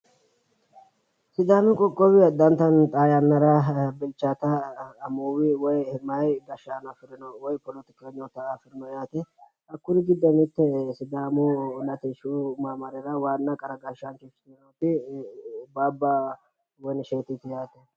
sidaami qoqowi addintanni xaa yannara meyaa gashshaano afirino yaate hakkuri giddonni mitte sidaamu latushshu maamarira qara gashshaancho ikkitinoti baabba woyini isheetiti yaate.